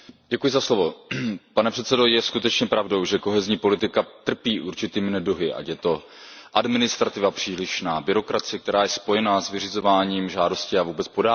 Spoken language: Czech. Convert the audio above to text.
Pane předsedající, je skutečně pravdou, že kohezní politika trpí určitými neduhy, ať je to přílišná byrokracie, která je spojená s vyřizováním žádostí a vůbec podáváním těchto žádostí.